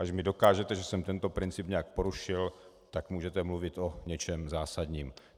Když mi dokážete, že jsem tento princip nějak porušil, tak můžete mluvit o něčem zásadním.